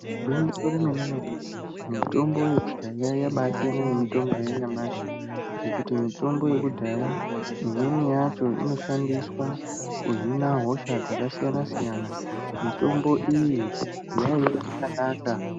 Igwinyiso remene- mene mitombo yekudhaya yasiyana nemitombo yanyamashi ngekuti mitombo yekudhaya imweni inoshandiswa kuhina hosha dzakasiyana-siyana, mitombo iyi yaiye yakanaka.